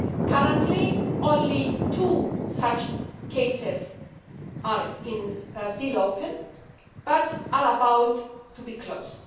Currently only two such cases are still open, but are about to be closed.